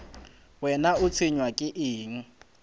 wena o tshwenywa ke eng